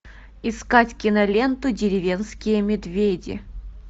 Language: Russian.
искать киноленту деревенские медведи